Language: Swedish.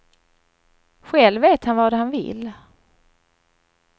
Själv vet han vad han vill.